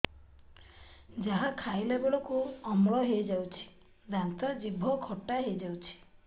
ଯାହା ଖାଇଲା ବେଳକୁ ଅମ୍ଳ ହେଇଯାଉଛି ଦାନ୍ତ ଜିଭ ଖଟା ହେଇଯାଉଛି